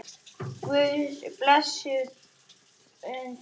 Guðs blessun fylgi henni.